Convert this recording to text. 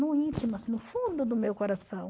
No íntimo, assim, no fundo do meu coração.